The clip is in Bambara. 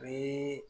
U bɛ